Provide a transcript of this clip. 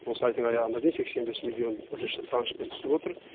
осы айдың аяғына дейін сексен бес миллион бірінші траншпн түсіп отыр